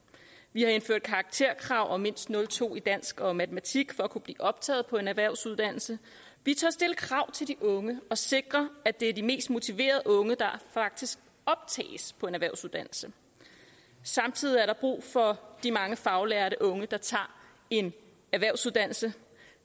vi har indført karakterkrav på mindst nul to i dansk og matematik for at kunne blive optaget på en erhvervsuddannelse vi tør stille krav til de unge og sikre at det er de mest motiverede unge der faktisk optages på en erhvervsuddannelse samtidig er der brug for de mange faglærte unge der tager en erhvervsuddannelse